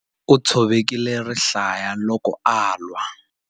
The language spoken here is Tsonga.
U tshovekile rihlaya loko a lwa.